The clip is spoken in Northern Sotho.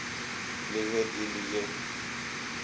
le ge e le ye